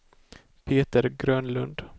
Peter Grönlund